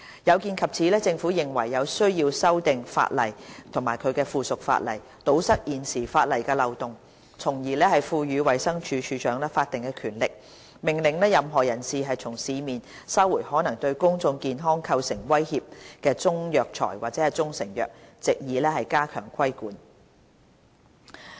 有見及此，政府認為有需要修訂《條例》及其附屬法例，堵塞現有的法例漏洞，從而賦予衞生署署長法定權力，命令任何人士從市面收回可能對公眾健康構成威脅的中藥材或中成藥，以加強規管。